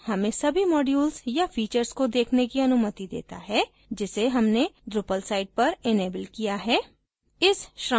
extend menu हमें सभी modules या फीचर्स को देखने की अनुमति देता है जिसे हमने drupal site पर इनेबल किया है